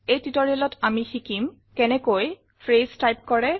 এই tutorialত আমি শিকিম কেনেকৈ ফ্ৰেছ টাইপ কৰে